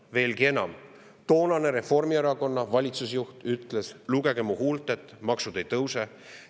Veelgi enam, toonane valitsusjuht Reformierakonnast ütles: "Lugege mu huultelt, maksud ei tõuse.